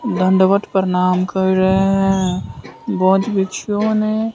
दंडवत प्रणाम कर रहे हैं बहोत बिच्छू ने--